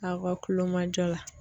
Aw ka kulomajɔ la.